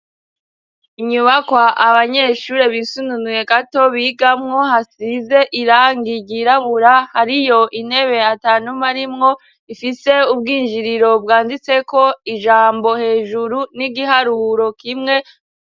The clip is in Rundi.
Inyubakwa abanyeshure bisununuye gato bigamwo, hasize irangi ryirabura, hariyo intebe atanumwe arimwo, ifise ubwinjiriro bwanditseko ijambo hejuru n'igiharuro kimwe.